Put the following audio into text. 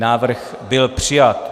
Návrh byl přijat.